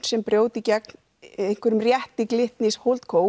sem brjóti gegn rétti Glitnis